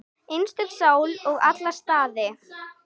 Einstök sál í alla staði.